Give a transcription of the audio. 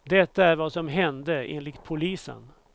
Detta är vad som hände, enligt polisen.